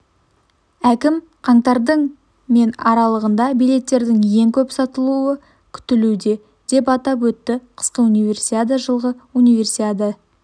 әкім қаңтардың мен аралығында билеттердің ең көп сатылуы күтілуде деп атап өтті қысқы универсиада жылғы универсиада